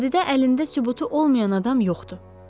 Vadidə əlində sübutu olmayan adam yoxdur.